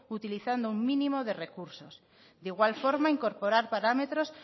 utilizando un mínimo de recursos de igual forma incorporar parámetros